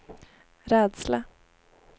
rädsla